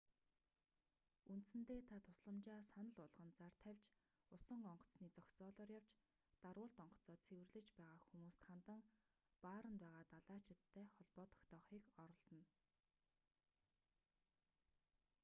үндсэндээ та тусламжаа санал болгон зар тавьж усан онгоцны зогсоолоор явж дарвуулт онгоцоо цэвэрлэж байгаа хүмүүст хандан бааранд байгаа далайчидтай холбоо тогтоохыг оролдоно